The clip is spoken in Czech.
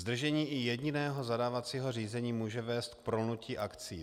Zdržení i jediného zadávacího řízení může vést k prolnutí akcí.